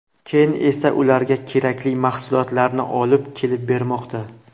Keyin esa ularga kerakli mahsulotlarni olib kelib bermoqda.